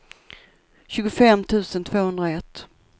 tjugofem tusen tvåhundraett